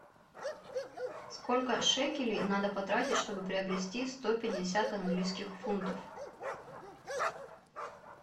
сколько шекелей надо потратить чтобы приобрести сто пятьдесят английских фунтов